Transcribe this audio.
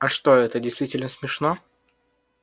а что это действительно смешно